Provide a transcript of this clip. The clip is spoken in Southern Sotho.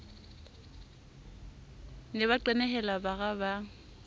ne ba qenehela bara ba